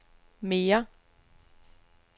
mere